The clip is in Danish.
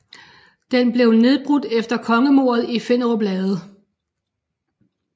Den blev nedbrudt efter kongemordet i Finderup Lade